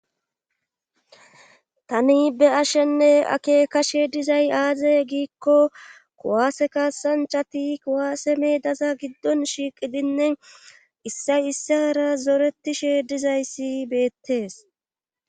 tani be7ashenne akekashe dizay aaze giikko kuwaase kasanchati kuwaase medaza giddon shiiqidinne issay issara zoretishe dizayssi beettees